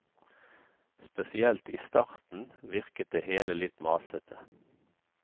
Spesielt i starten, virket det hele litt masete.